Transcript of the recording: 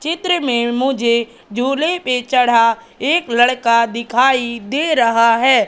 चित्र में मुझे झूले पर चढ़ा एक लड़का दिखाई दे रहा है।